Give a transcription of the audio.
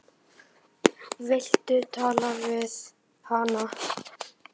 Viltu tala við hana?